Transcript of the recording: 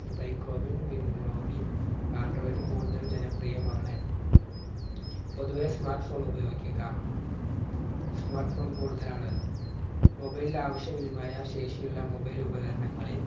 microwin win login android കൂടുതൽ ജനപ്രിയമാണ്. പൊതുവെ smart phone ഉപയോഗിക്കാം. smart phone കൂടുതലാണ് mobile ആവിശ്യ വിനിമയ ശേഷിയുള്ള mobile ഉപകരണങ്ങളിൽ